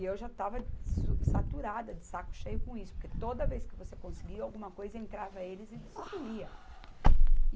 E eu já estava su, saturada, de saco cheio com isso, porque toda vez que você conseguia alguma coisa, entrava eles e destruía.